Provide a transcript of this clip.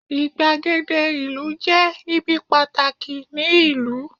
igbagede ìlú je ibi pàtàkì ni ìlú